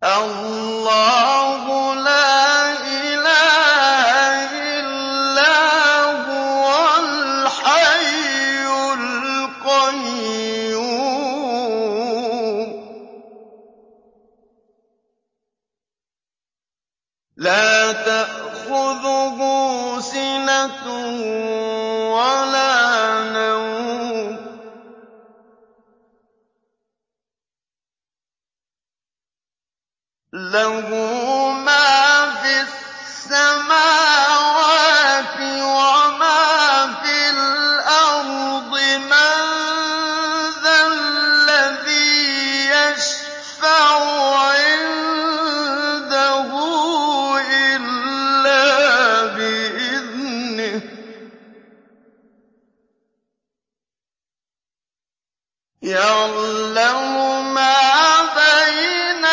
اللَّهُ لَا إِلَٰهَ إِلَّا هُوَ الْحَيُّ الْقَيُّومُ ۚ لَا تَأْخُذُهُ سِنَةٌ وَلَا نَوْمٌ ۚ لَّهُ مَا فِي السَّمَاوَاتِ وَمَا فِي الْأَرْضِ ۗ مَن ذَا الَّذِي يَشْفَعُ عِندَهُ إِلَّا بِإِذْنِهِ ۚ يَعْلَمُ مَا بَيْنَ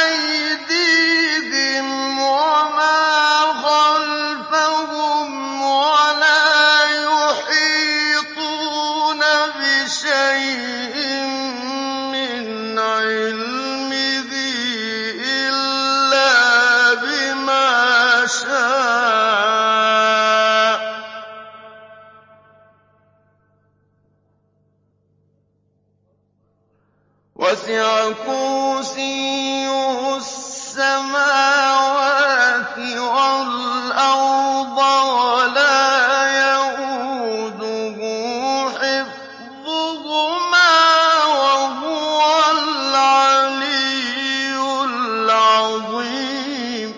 أَيْدِيهِمْ وَمَا خَلْفَهُمْ ۖ وَلَا يُحِيطُونَ بِشَيْءٍ مِّنْ عِلْمِهِ إِلَّا بِمَا شَاءَ ۚ وَسِعَ كُرْسِيُّهُ السَّمَاوَاتِ وَالْأَرْضَ ۖ وَلَا يَئُودُهُ حِفْظُهُمَا ۚ وَهُوَ الْعَلِيُّ الْعَظِيمُ